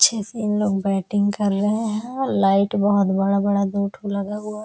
अच्छे से इनलोग बैटिंग कर रहे हैं लाइट बहोत बड़ा-बड़ा दो ठो लगा हुआ --